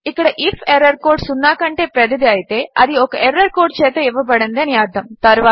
ఇక్కడ if error code సున్నా కంటే పెద్దది అయితే అది ఒక ఎర్రర్ కోడ్ చేత ఇవ్వబడింది అని అర్థము